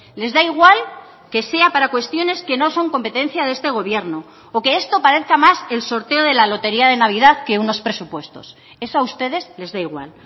les da igual que sea para cuestiones que no son competencia de este gobierno o que esto parezca más el sorteo de la lotería de navidad que unos presupuestos eso a ustedes les da igual